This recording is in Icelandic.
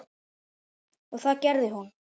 Og það gerði hún.